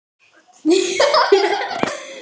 Getur þú verið sammála því?